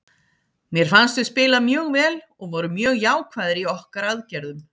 Mér fannst við spila mjög vel og vorum mjög jákvæðir í okkar aðgerðum.